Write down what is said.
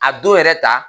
A don yɛrɛ ta